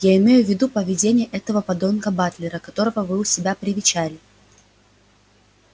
я имею в виду поведение этого подонка батлера которого вы у себя привечали